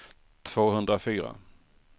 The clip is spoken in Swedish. tvåhundrafyra